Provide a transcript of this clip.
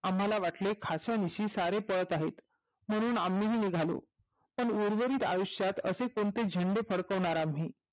आम्हाला वाटले खाशा विषयी सारे पळत आहे म्हणून आम्ही निघालो पण उर्वरित आयुष्य असे कोणते झेंडे फडकविनार आम्ही